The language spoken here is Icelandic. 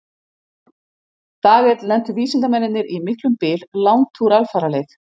Dag einn lentu vísindamennirnir í miklum byl langt úr alfaraleið.